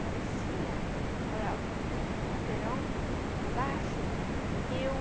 Uma vizinha morava um quarteirão abaixo, eu...